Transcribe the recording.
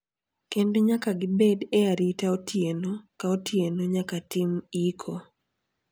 Kendo nyaka gibed e arita otieno ka otieno nyaka tim iko.